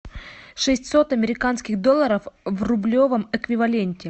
шестьсот американских долларов в рублевом эквиваленте